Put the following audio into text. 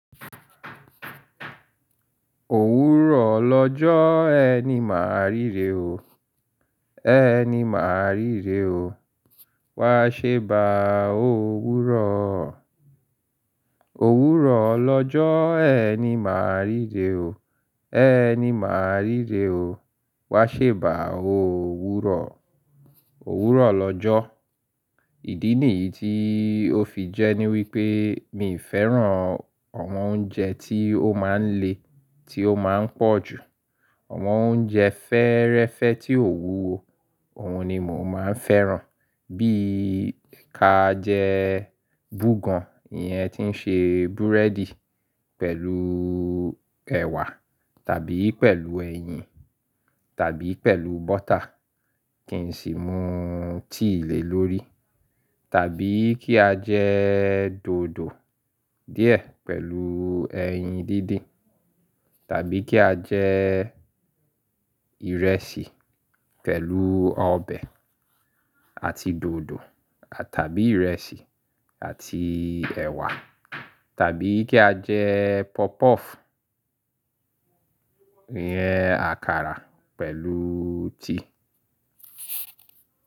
Òwúrọ̀ lọ́jọ́ ẹni máa ríre o. E Ẹni máa ríre o, wá ṣe báa ò wúrọ̀. Òwúrọ̀ lọ́jọ́ ẹni máa ríre o. Ẹni máa ríre o, wá ṣe bá òwúrọ̀. Òwúrọ̀ lọ́jọ́. Ìdí nìyí tí ó fi jẹ́ ní wípé mi fẹ́ràn àwọn oúnjẹ tí ó máa ń le, tí ó máa ń pọ̀ jù. Àwọn oúnjẹ fẹ́ẹ́rẹ́fẹ́ tí ò wúwo, òhun ni mò maa ń fẹ́ràn. Bí i ká jẹ búgàn, ìyẹn tí ń ṣe búrẹ́dì pẹ̀lú ẹ̀wà tàbí pẹ̀lú ẹyin tàbí pẹ̀lú bọ́tà, kì n sì mú tea lé lórí. Tàbí kí a jẹ dòdò díẹ̀ pẹ̀lú ẹyin díndín. Tàbí kí a jẹ ìrẹsì pẹ̀lú ọbẹ̀ àti dòdò tàbí ìrẹsì àti ẹ̀wà tàbí kí a jẹ popuff, ìyẹn àkàrà pẹ̀lú tea.